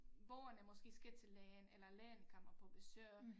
Borgerne måske skal til lægen eller lægen kommer på besøg